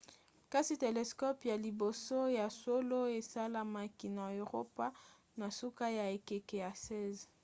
kasi telescope ya liboso ya solo esalemaki na eropa na suka ya ekeke ya 16